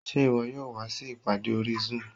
Ṣé ìwọ yóò wá sí ìpàdé orí zoom?